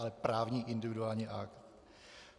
Ale právní individuální akt.